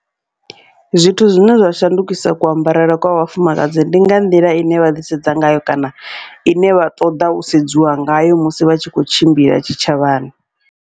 Zwithu zwine zwa shandukisa kuambarele kwa vhafumakadzi, ndi nga nḓila ine vha ḓi sedza ngayo kana ine vha ṱoḓa u sedziwa ngayo musi vha tshi kho tshimbila tshitshavhani.